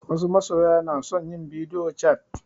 Wasu masoya na son yin bidio cat